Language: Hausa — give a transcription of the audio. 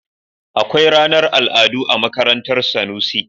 Akwai ranar al'adu a makarantar Sanusi.